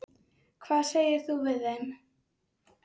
Hvað segir þú við þeim?